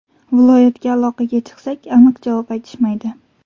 Viloyatga aloqaga chiqsak, aniq javob aytishmaydi.